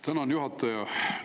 Tänan, juhataja!